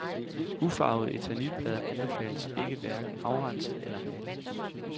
Ufarvede eternitplader anbefales ikke hverken afrenset eller malet.